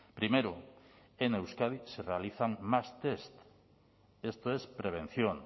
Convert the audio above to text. primero en euskadi se realizan más test esto es prevención